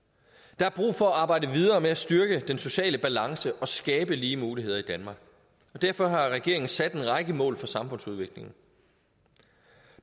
der er brug for at arbejde videre med at styrke den sociale balance og skabe lige muligheder i danmark og derfor har regeringen sat en række mål for samfundsudviklingen